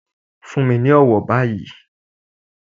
Fún mi ní ọ̀wọ̀ báyìí.